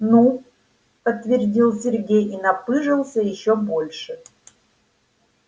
ну подтвердил сергей и напыжился ещё больше